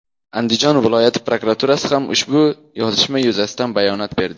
Andijon viloyati prokuraturasi ham ushbu yozishma yuzasidan bayonot berdi .